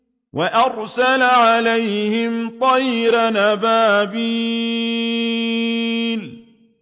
وَأَرْسَلَ عَلَيْهِمْ طَيْرًا أَبَابِيلَ